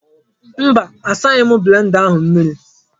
Mba asaghi m blenda ahụ mmiri.